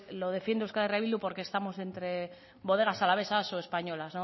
lo defiende euskal herria bildu porque estamos entre bodegas alavesas o españolas